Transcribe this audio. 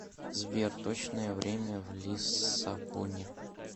сбер точное время в лиссабоне